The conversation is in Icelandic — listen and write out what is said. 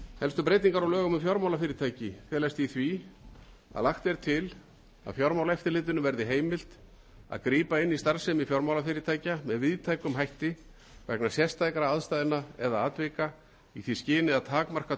helstu breytingar á lögum um fjármálafyrirtæki felast í því að lagt er til að fjármálaeftirlitinu verði heimilt að grípa inn í starfsemi fjármálafyrirtækja með víðtækum hætti vegna sérstakra aðstæðna eða atvika í því skyni að takmarka